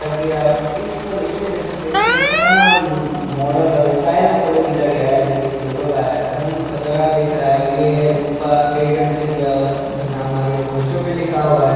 ताकि आप इस इसमें देख सकते है इसमें खतरनाक मॉडल है स्टाइल में फोटो खिंचा गया है जो की टोटो का है एकदम खतरनाक दिख रहा है ये रूपा ट्रेडर्स से लिया हुआ है जो की नाम आगे पोस्टर पर लिखा है।